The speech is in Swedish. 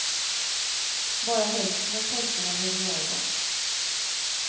Bara hälften av pojkarna behöver göra det.